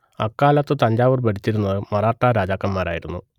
അക്കാലത്ത് തഞ്ചാവൂർ ഭരിച്ചിരുന്നത് മറാഠാ രാജാക്കന്മാരായിരുന്നു